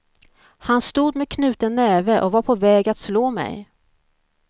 Han stod med knuten näve och var på väg att slå mig.